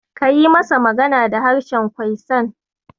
Ka yi masa magana da harshen Kwaisan.